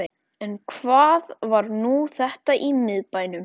En hvað var nú þetta í miðbænum?